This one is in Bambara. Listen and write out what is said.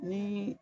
Ni